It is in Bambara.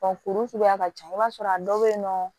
kuru suguya ka ca i b'a sɔrɔ a dɔw be yen nɔ